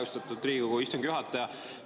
Austatud Riigikogu istungi juhataja!